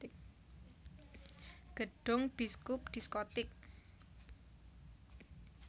Gedhong biskup diskotik